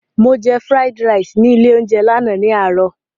Mo jẹ fúráídí raìsì ní ilé-oúnjẹ náà ní àárọ̀.